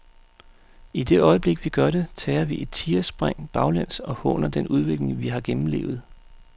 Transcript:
I det øjeblik vi gør det, tager vi et tigerspring baglæns og håner den udvikling vi har gennemlevet.